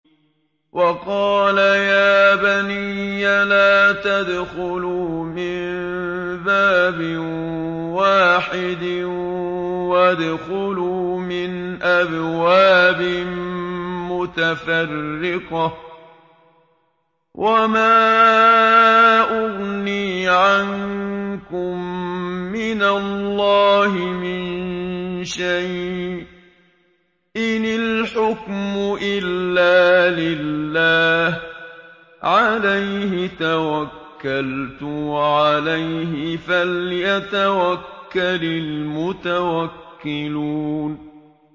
وَقَالَ يَا بَنِيَّ لَا تَدْخُلُوا مِن بَابٍ وَاحِدٍ وَادْخُلُوا مِنْ أَبْوَابٍ مُّتَفَرِّقَةٍ ۖ وَمَا أُغْنِي عَنكُم مِّنَ اللَّهِ مِن شَيْءٍ ۖ إِنِ الْحُكْمُ إِلَّا لِلَّهِ ۖ عَلَيْهِ تَوَكَّلْتُ ۖ وَعَلَيْهِ فَلْيَتَوَكَّلِ الْمُتَوَكِّلُونَ